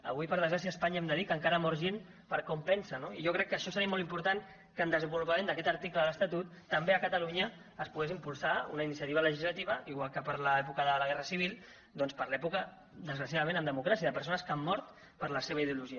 avui per desgràcia a espanya hem de dir que encara mor gent per com pensa no i jo crec que això seria molt important que en el desenvolupament d’aquest article de l’estatut també a catalunya es pogués impulsar una iniciativa legislativa igual que per a l’època de la guerra civil doncs per a l’època desgraciadament en democràcia de persones que han mort per la seva ideologia